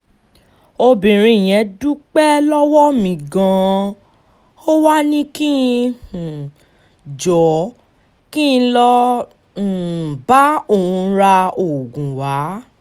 obìnrin yẹn dúpẹ́ lọ́wọ́ mi gan-an ó wàá ní kí um n jọ̀ọ́ kí n lọ́ọ́ um bá òun ra oògùn wa